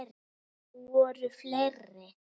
Voru fleiri?